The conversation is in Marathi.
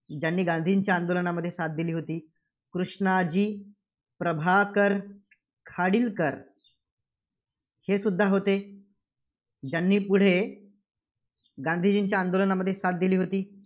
ज्यांनी गांधीजींच्या आंदोलनामध्ये साथ दिली होती. कृष्णाजी प्रभाकर खाडीलकर, हेसुद्धा होते. ज्यांनी पुढे गांधीजींच्या आंदोलनामध्ये साथ दिली होती.